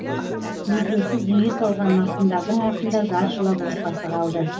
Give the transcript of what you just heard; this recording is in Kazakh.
мезгілсіз дүние салған марқұмдардың артында зар жылап отбасы қалды